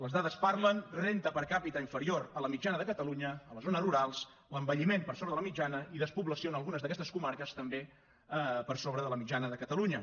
les dades parlen renda per capita inferior a la mitjana de catalunya a les zones rurals l’envelliment per sobre de la mitjana i despoblació en algunes d’aquestes comarques també per sobre de la mitjana de catalunya